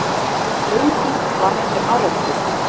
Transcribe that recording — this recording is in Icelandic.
Mikil sprenging varð við árekstur